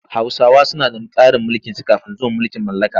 Hausawa suna da tsarin mulkinsu kafin zuwan mulkin mallaka.